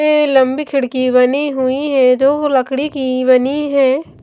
लंबी खिड़की बनी हुई है जो लकड़ी की बनी है।